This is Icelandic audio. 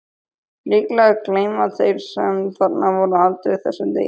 Líklega gleyma þeir sem þarna voru aldrei þessum degi.